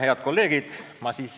Head kolleegid!